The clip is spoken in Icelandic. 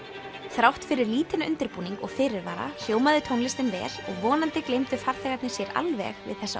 þrátt fyrir lítinn undirbúning og fyrirvara hljómaði tónlistin vel og vonandi gleymdu farþegarnir sér alveg við þessa